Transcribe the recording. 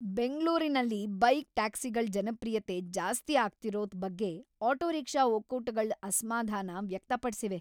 ಬೆಂಗ್ಳೂರಿನಲ್ bike ಟ್ಯಾಕ್ಸಿಗಳ್ ಜನಪ್ರಿಯತೆ ಜಾಸ್ತಿ ಆಗ್ತಿರೋದ್ ಬಗ್ಗೆ ಆಟೋ ರಿಕ್ಷಾ ಒಕ್ಕೂಟಗಳ್ ಅಸ್ಮಾಧಾನ ವ್ಯಕ್ತಪಡ್ಸಿವೆ.